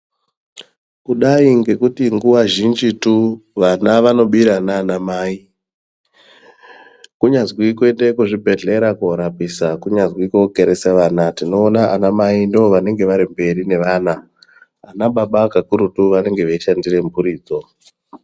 Kudai ngekuti nguwa zhinjitu, vana vanobira nanamai. Kunyazvi kuende kuzvibhedhlera korapisa kunyazi kokeresa vana. Tinowona vanamai, ndovanenge varimberi nevana. Anababa kakurutu vanenge veyishandire mphuridzo.